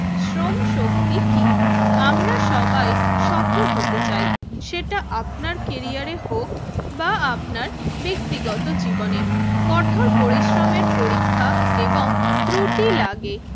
শ্রম শক্তি কি? আমরা সবাই সফল হতে চাই সেটা আপনার ক্যারিয়ারে হোক বা আপনার ব্যক্তিগত জীবনে, কঠোর পরিশ্রমের পরীক্ষা এবং ত্রুটি লাগে